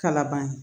Kalaban ye